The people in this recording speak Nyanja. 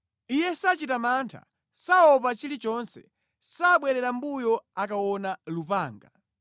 Iye sachita mantha, saopa chilichonse; sabwerera mʼmbuyo akaona lupanga.